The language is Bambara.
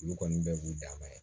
Olu kɔni bɛɛ b'u danma ye